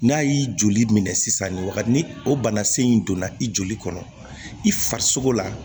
N'a y'i joli minɛ sisan nin wagati ni o bana sen in donna i joli kɔnɔ i farisogo la